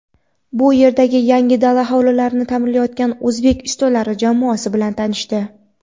bu yerdagi yangi dala hovlilarni ta’mirlayotgan o‘zbek ustalari jamoasi bilan tanishdi.